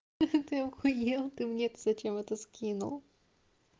ты ахуел ты мне то зачем это скинул